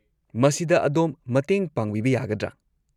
ꯃꯁꯤꯗ ꯑꯗꯣꯝ ꯃꯇꯦꯡ ꯄꯥꯡꯕꯤꯕ ꯌꯥꯒꯗ꯭ꯔꯥ?